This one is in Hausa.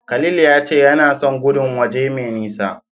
Khalil ya ce yana son gudun waje mai nisa.